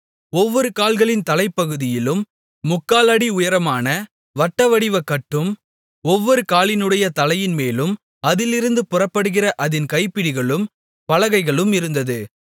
ஒவ்வொரு கால்களின் தலைப்பகுதியிலும் 3/4 அடி உயரமான வட்டவடிவ கட்டும் ஒவ்வொரு காலினுடைய தலைப்பின்மேலும் அதிலிருந்து புறப்படுகிற அதின் கைப்பிடிகளும் பலகைகளும் இருந்தது